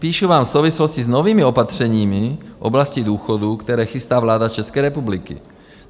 Píšu vám v souvislosti s novými opatřeními v oblasti důchodů, které chystá vláda České republiky.